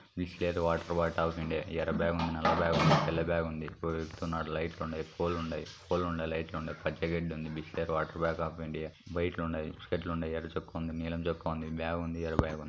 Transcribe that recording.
Bisleri water bottle తాగుతుండుఎర్ర bag ఉంద నల్ల బ్యాగు ఉందితెల్ల బ్యాగు ఉంది లైట్లు ఉంటాయి పచ్చగడ్డి ఉంద బిస్లరీ వాటర్ బాటిల్ ఎర్ర చొక్కా ఉంద నీలం చొక్కా ఉందిబ్యాగు ఉంది ఎర్ర బ్యాగు ఉంది.